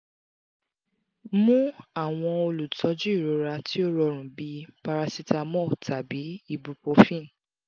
mu awọn olutọju irora ti o rọrun bi paracetamol tabi ibuprofen